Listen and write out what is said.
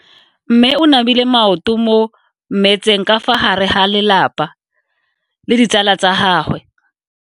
Mme o namile maoto mo mmetseng ka fa gare ga lelapa le ditsala tsa gagwe.